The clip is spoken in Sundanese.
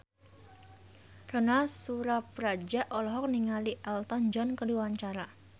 Ronal Surapradja olohok ningali Elton John keur diwawancara